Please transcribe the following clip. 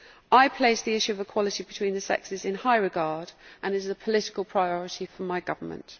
I place the issue of equality between the sexes in high regard and it is a political priority for my government.